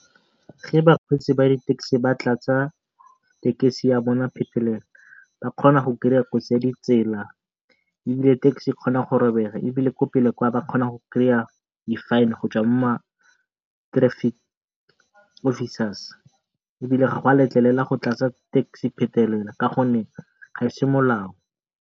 Ge bakgweetsi ba di-taxi ba tlatsa tekesi ya bone phetelela ba kgona kgotsi ya ditsela ebile taxi e kgona go robega. Ebile ko pele kwa ba kgona go di-fine ko ma-traffic officers ebile ga gwa letlelelwa go tlatsa taxi phetelela ka gonne ga ese molao.